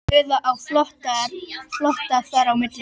Eða á flótta þar á milli.